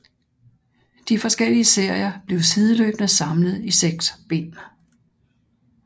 De forskellige serier blev sideløbende samlet i seks bind